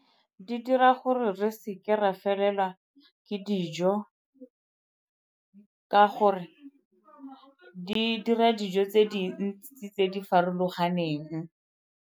Di dira gore re seke ra felelwa ke dijo ka gore di dira dijo tse dintsi tse di farologaneng.